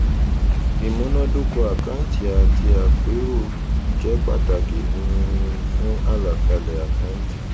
ìmúnàdóko àkáǹtì àti àpérò jẹ pàtàkì um fún àlàkalè àkántì